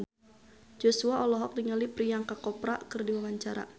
Joshua olohok ningali Priyanka Chopra keur diwawancara